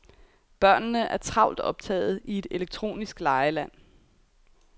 Børnene er travlt optagede i et elektronisk legeland.